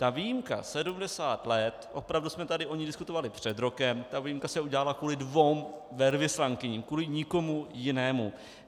Ta výjimka 70 let, opravdu jsme tady o ní diskutovali před rokem, ta výjimka se udělala kvůli dvěma velvyslankyním, kvůli nikomu jinému.